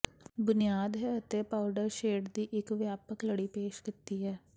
ਬੁਨਿਆਦ ਹੈ ਅਤੇ ਪਾਊਡਰ ਸ਼ੇਡ ਦੀ ਇੱਕ ਵਿਆਪਕ ਲੜੀ ਪੇਸ਼ ਕੀਤੀ ਹੈ